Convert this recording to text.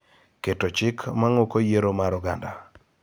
keto chik mang'uko yiero mar oganda